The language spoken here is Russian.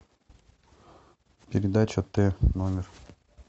передача т номер